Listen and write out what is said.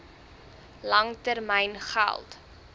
lang termyn geld